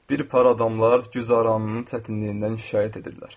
Bir para adamlar güzəranının çətinliyindən şikayət edirlər.